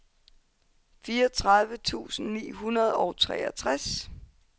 fireogtredive tusind ni hundrede og treogtres